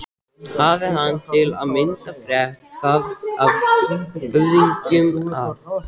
Hafi hann til að mynda frétt það af höfðingjum að